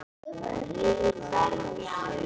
Borgar það sig ekki?